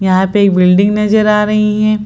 यहाँ पे एक बिल्डिंग नजर आ रही है।